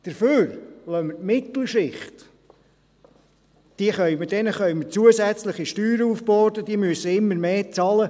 Dafür lassen wir die Mittelschicht, denen wir zusätzliche Steuern aufbürden können, immer mehr zahlen.